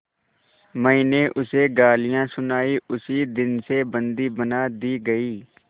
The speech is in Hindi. मैंने उसे गालियाँ सुनाई उसी दिन से बंदी बना दी गई